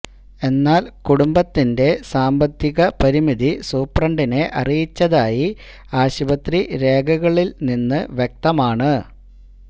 എന്നാല് കുടുംബത്തിന്റെ സാമ്പത്തിക പരിമിതി സൂപ്രണ്ടിനെ അറിയിച്ചതായി ആശുപത്രി രേഖകളില് നിന്ന് വ്യക്തമാണ്